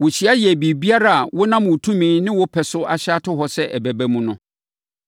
Wɔhyia yɛɛ biribiara a wonam wo tumi ne wo pɛ so ahyɛ ato hɔ sɛ ɛbɛba mu no.